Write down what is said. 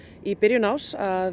í byrjun árs að